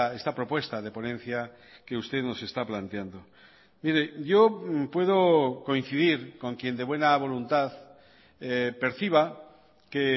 esta propuesta de ponencia que usted nos está planteando mire yo puedo coincidir con quien de buena voluntad perciba que